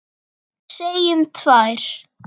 Segjum tvær.